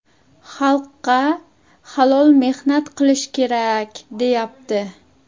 Xalqqa halol mehnat qilish kerak, deyapti.